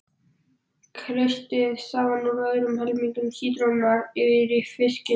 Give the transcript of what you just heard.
Kreistið safann úr öðrum helmingi sítrónunnar yfir fiskinn.